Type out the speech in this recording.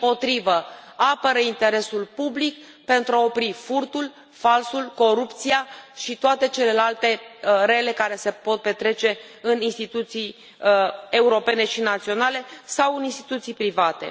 Dimpotrivă, apără interesul public pentru a opri furtul, falsul, corupția și toate celelalte rele care se pot petrece în instituții europene și naționale sau în instituții private.